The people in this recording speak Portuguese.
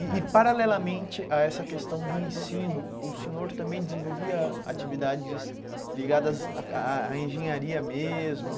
E e paralelamente a essa questão do ensino, o senhor também desenvolvia atividades ligadas à à engenharia mesmo.